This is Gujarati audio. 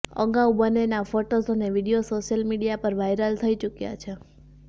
અગાઉ બંનેના ફોટોઝ અને વીડિયોઝ સોશિયલ મીડિયા પર વાયરલ થઈ ચુક્યાં છે